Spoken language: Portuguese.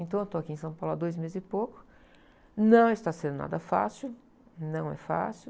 Então, eu estou aqui em São Paulo há dois meses e pouco, não está sendo nada fácil, não é fácil.